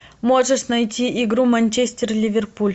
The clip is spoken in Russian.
можешь найти игру манчестер ливерпуль